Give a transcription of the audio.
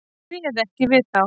Hún réð ekki við þá.